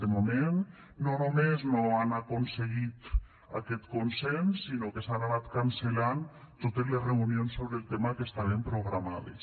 de moment no només no han aconseguit aquest consens sinó que s’han anat cancel·lant totes les reunions sobre el tema que estaven programades